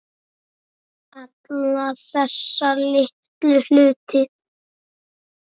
Alla þessa litlu hluti.